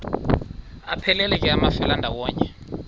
aphelela ke amafelandawonye